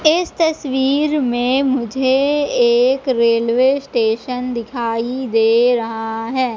इस तस्वीर में मुझे एक रेलवे स्टेशन दिखाई दे रहा है।